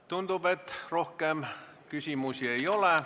Tundub, et rohkem küsimusi ei ole.